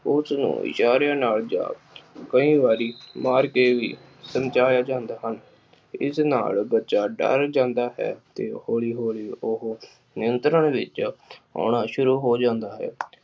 ਉਸਨੂੰ ਇਸ਼ਾਰਿਆਂ ਨਾਲ ਜਦ ਕਈ ਵਾਰੀ ਮਾਰ ਕੇ ਵੀ ਸਮਝਾਇਆ ਜਾਂਦਾ ਹੈ। ਇਸ ਨਾਲ ਬੱਚਾ ਡਰ ਜਾਂਦਾ ਹੈ ਕੇ ਹੌਲੀ ਹੌਲੀ ਨਿਯੰਤਰਣ ਵਿਚ ਆਉਣਾ ਸ਼ੁਰੂ ਹੋ ਜਾਂਦਾ ਹੈ।